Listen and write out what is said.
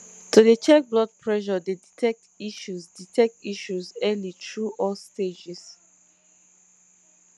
to dey check blood pressure dey detect issues detect issues early through all stages